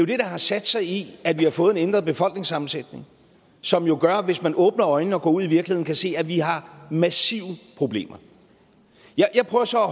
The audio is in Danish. det der har sat sig i at vi har fået en ændret befolkningssammensætning som jo gør at man hvis man åbner øjnene og går ud i virkeligheden kan se at vi har massive problemer jeg prøver så at